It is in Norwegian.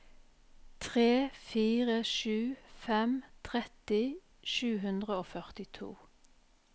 tre fire sju fem tretti sju hundre og førtito